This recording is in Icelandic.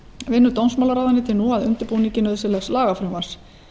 vinnur dómsmálaráðuneytið nú að undirbúningi nauðsynlegs lagafrumvarps